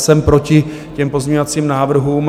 Jsem proti těm pozměňovacím návrhům.